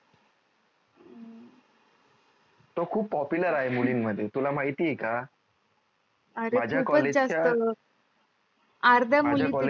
तो खूप popular आहे मुलीन मध्ये तुला माहिती आहे का माझ्या college च्या